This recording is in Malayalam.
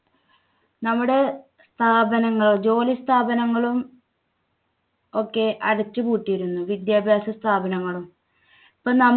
നമ്മുടെ സ്ഥാപനങ്ങൾ ജോലി സ്ഥാപനങ്ങളും ഒക്കെ അടച്ചു പൂട്ടിയിരുന്നു. വിദ്യാഭ്യാസ സ്ഥാപനങ്ങളും ഇപ്പോ നമു